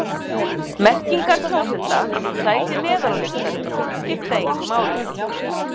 Merkingar kjósenda við sæti neðar á listanum skipta engu máli.